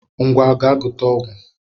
Ngwa gaa gote ọgwụ